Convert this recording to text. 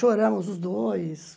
Choramos os dois.